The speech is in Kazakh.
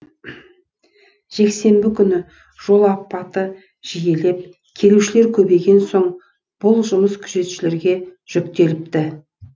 жексенбі күні жол апаты жиілеп келушілер көбейген соң бұл жұмыс күзетшілерге жүктеліпті